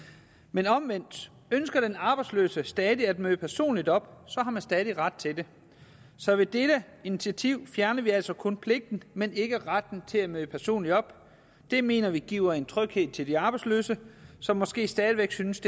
men omvendt ønsker den arbejdsløse stadig at møde personligt op har man stadig ret til det så ved dette initiativ fjerner vi altså kun pligten men ikke retten til at møde personligt op det mener vi giver en tryghed til de arbejdsløse som måske stadig væk synes